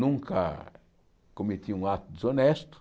Nunca cometi um ato desonesto.